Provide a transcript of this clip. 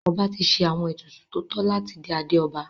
Ọba ti ṣe àwọn ètùtù tó tọ́ láti dé adé ọba.